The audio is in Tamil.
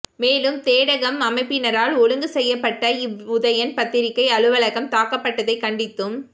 மேலும் தேடகம் அமைப்பினரால் ஒழுங்கு செய்யப்பட்ட இவ் உதயன் பத்திரிகை அலுவலகம் தாக்கப்பட்டதை கண்டித்தும்